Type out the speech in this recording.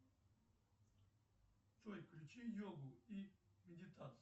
джой включи йогу и медитацию